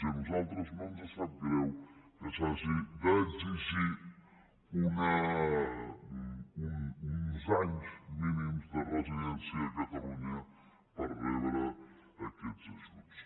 i a nosaltres no ens sap greu que s’hagi d’exigir uns anys mínims de residència a catalunya per rebre aquests ajuts